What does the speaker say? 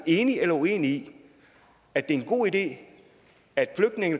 enig eller uenig i at det er en god idé at der